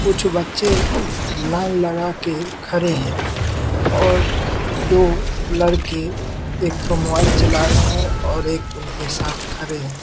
कुछ बच्चे लाइन लगाके खरे हैं और दो लड़के एक ठो मोबाइल चला रहे हैं और एक उनके साथ खरे हैं।